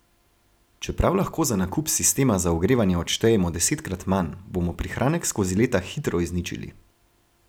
Čeprav lahko za nakup sistema za ogrevanje odštejemo desetkrat manj, bomo prihranek skozi leta hitro izničili.